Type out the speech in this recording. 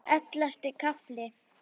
Ellefti kafli